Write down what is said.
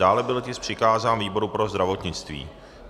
Dále byl tisk přikázán výboru pro zdravotnictví.